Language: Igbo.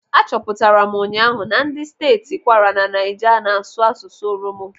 Achọpụtara m ụnyaahụ na ndị steeti Kwara na Naija na-asụ asụsụ Oromo.